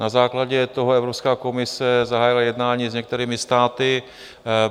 Na základě toho Evropská komise zahájila jednání s některými státy.